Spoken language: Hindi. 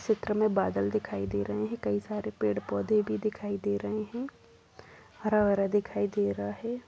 इस चित्र में बादल दिखाई दे रहें हैं कई सारे पेड़ पौधे भी दिखाई दे रहें है हरा भरा दिखाई दे रहा हैं।